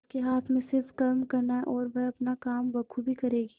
उसके हाथ में सिर्फ कर्म करना है और वह अपना काम बखूबी करेगी